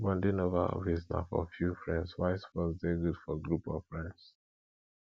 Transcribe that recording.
bonding over hobbies na for few friends while sports de good for group of friends